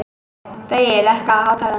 Baui, lækkaðu í hátalaranum.